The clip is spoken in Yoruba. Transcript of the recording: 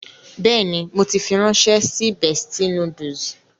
Bẹ́ẹ̀ni, mo ti fi ránṣẹ́ sí Bestie Noodles.